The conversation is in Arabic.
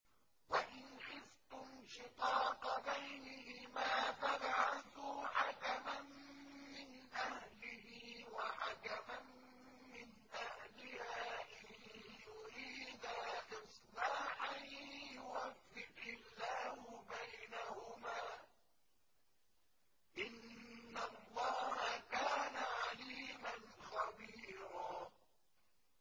وَإِنْ خِفْتُمْ شِقَاقَ بَيْنِهِمَا فَابْعَثُوا حَكَمًا مِّنْ أَهْلِهِ وَحَكَمًا مِّنْ أَهْلِهَا إِن يُرِيدَا إِصْلَاحًا يُوَفِّقِ اللَّهُ بَيْنَهُمَا ۗ إِنَّ اللَّهَ كَانَ عَلِيمًا خَبِيرًا